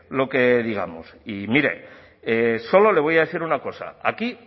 lo que digamos y mire solo le voy a decir una cosa aquí